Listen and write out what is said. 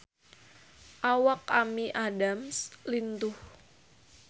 Awak Amy Adams lintuh